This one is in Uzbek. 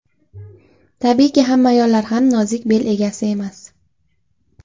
Tabiiyki, hamma ayollar ham nozik bel egasi emas.